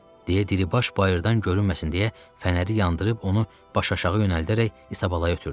deyə Diribaş bayırdan görünməsin deyə fənəri yandırıb onu baş-aşağı yönəldərək İsabalaya ötürdü.